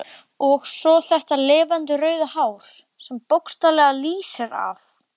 Og svo þetta lifandi rauða hár sem bókstaflega lýsir af.